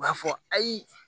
U b'a fɔ ayi